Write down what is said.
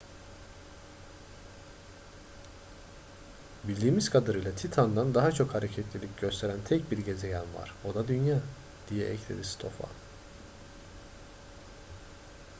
bildiğimiz kadarıyla titan'dan daha çok hareketlilik gösteren tek bir gezegen var o da dünya diye ekledi stofan